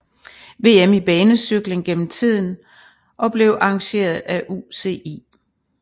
VM i banecykling gennem tiden og blev arrangeret af UCI